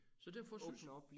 Så derfor synes jeg